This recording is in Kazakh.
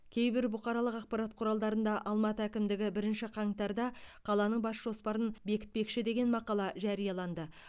кейбір бұқаралық ақпарат құралдарында алматы әкімдігі бірінші қаңтарда қаланың бас жоспарын бекітпекші деген мақала жарияланды